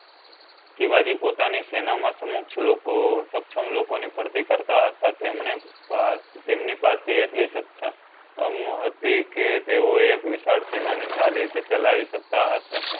શિવજી પોતાની ની સેના મા સમક્ષ લોકો સક્ષમ લોકો ની ભરતી કરતાં હતા તેમણે તેમની એટલી સક્ષમ ન હતી કે તેઓ એક વિશાળ સેના ને સારી રીતે ચાલી સકતા હતા